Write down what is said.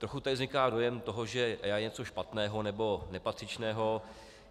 Trochu tady vzniká dojem toho, že EIA je něco špatného nebo nepatřičného.